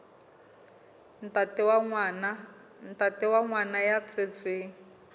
ntate wa ngwana ya tswetsweng